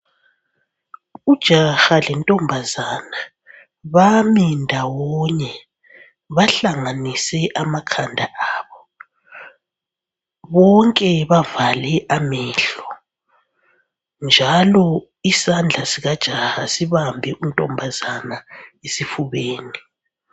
Ujaha lentombazana bami ndawonye bahlanganise amakhanda abo. Bonke bavale amehlo, njalo isandla sikajaha sibambe untombazana esifubeni.